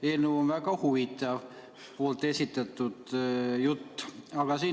Teie eelnõu ja selle kohta esitatud jutt on väga huvitav.